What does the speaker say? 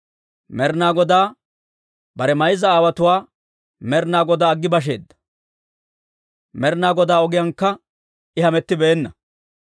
Med'ina Godaa, bare mayza aawotuwaa Med'ina Godaa aggi basheedda; Med'ina Godaa ogiyaankka I hamettibeenna.